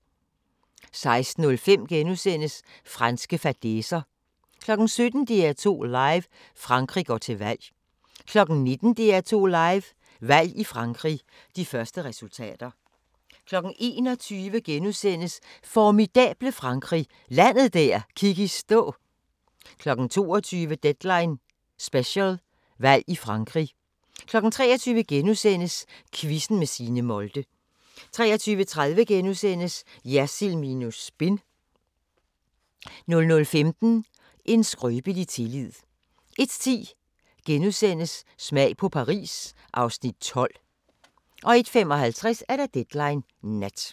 16:05: Franske fadæser * 17:00: DR2 Live: Frankrig går til valg 19:00: DR2 Live: Valg i Frankrig – De første resultater 21:00: Formidable Frankrig – landet der gik i stå * 22:00: Deadline Special – Valg i Frankrig 23:00: Quizzen med Signe Molde * 23:30: Jersild minus spin * 00:15: En skrøbelig tillid 01:10: Smag på Paris (Afs. 12)* 01:55: Deadline Nat